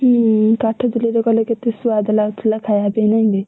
ହୁଁ କାଠ ଚୁଲିରେ କଲେ କେତେ ସୁଆଦ ଲାଗୁଥିଲା ଖାଇବା ପାଇଁ ନାଇକି!